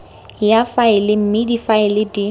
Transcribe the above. ya faele mme difaele di